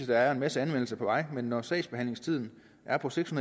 der er en masse anmeldelser på vej men når sagsbehandlingstiden er på seks